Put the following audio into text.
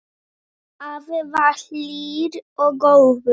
Afi var hlýr og góður.